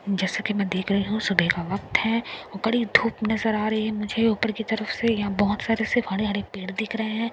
जैसे कि मैं देख रही सुबेह के वक्त है वो कड़ी धूप नजर आ रही है मुझे ऊपर की तरफ से यहां बहोत सारे से हरे हरे पेड़ दिख रहे हैं।